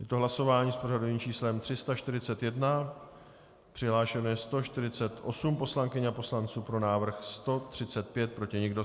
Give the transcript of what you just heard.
Je to hlasování s pořadovým číslem 341, přihlášeno je 148 poslankyň a poslanců, pro návrh 135, proti nikdo.